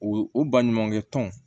O o baɲumankɛ tɔn